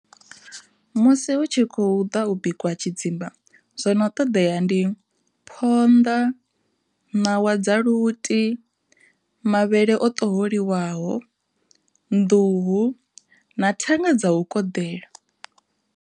Musi hu tshi khou ḓa u bikiwa tshidzimba zwono ṱoḓea ndi phonḓa, ṋawa dza luti, mavhele o ṱoholiwaho, nḓuhu na thanga dza u koḓela.